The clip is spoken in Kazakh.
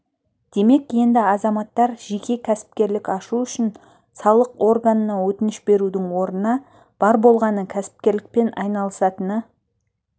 демек енді азаматтар жеке кәсіпкерлік ашу үшін салық органына өтініш берудің орнына бар болғаны кәсіпкерлікпен айналысатыны